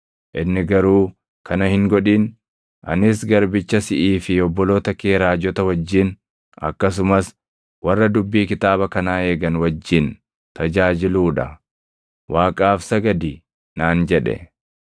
Inni garuu, “Kana hin godhin! Anis garbicha siʼii fi obboloota kee raajota wajjin, akkasumas warra dubbii kitaaba kanaa eegan wajjin tajaajiluu dha. Waaqaaf sagadi!” naan jedhe.